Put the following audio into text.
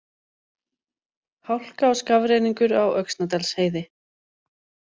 Hálka og skafrenningur á Öxnadalsheiði